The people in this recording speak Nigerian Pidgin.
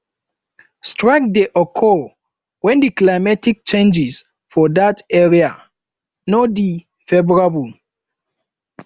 strike de occur when di climatic changes for that area no de favourable